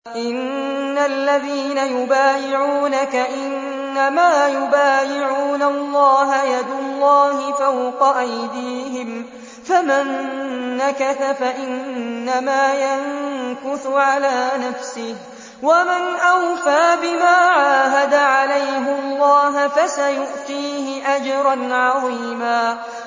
إِنَّ الَّذِينَ يُبَايِعُونَكَ إِنَّمَا يُبَايِعُونَ اللَّهَ يَدُ اللَّهِ فَوْقَ أَيْدِيهِمْ ۚ فَمَن نَّكَثَ فَإِنَّمَا يَنكُثُ عَلَىٰ نَفْسِهِ ۖ وَمَنْ أَوْفَىٰ بِمَا عَاهَدَ عَلَيْهُ اللَّهَ فَسَيُؤْتِيهِ أَجْرًا عَظِيمًا